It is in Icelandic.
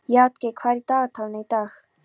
Játgeir, hvað er í dagatalinu í dag?